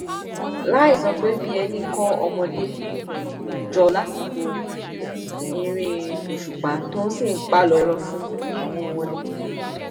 láì sọ pé bíi ẹni kó ọmọdé um jọ lásìkò eré òṣùpá tó sì ń páálò irọ fún um wọn ni